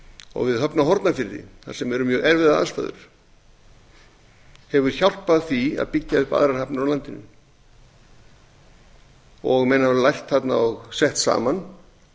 og við höfn á hornafirði þar sem eru mjög erfiðar aðstæður hafa hjálpað því að byggja upp aðrar hafnir á landinu menn hafa lært þarna og sett saman